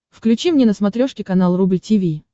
включи мне на смотрешке канал рубль ти ви